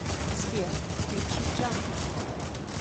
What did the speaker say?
сбер включи джанк